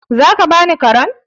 za ka bani karen ka?